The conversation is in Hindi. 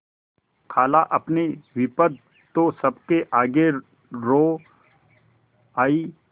खालाअपनी विपद तो सबके आगे रो आयी